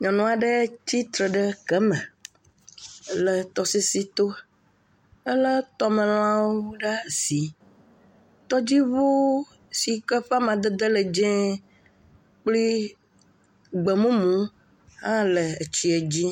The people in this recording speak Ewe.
Nyɔnua ɖe tsi tre ɖe gama le tɔsisito. Elé tɔmelãwo ɖe asi. Tɔdziŋu si ƒe amadede le dzẽe kple gbemumu hã le etsiɛ dzi.